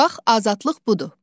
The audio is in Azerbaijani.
Bax azadlıq budur.